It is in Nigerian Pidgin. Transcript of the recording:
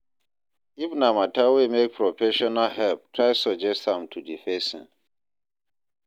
If na matter wey make professional help try suggest am to di persin